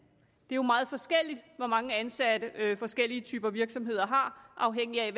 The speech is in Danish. det er jo meget forskelligt hvor mange ansatte forskellige typer virksomheder har afhængigt af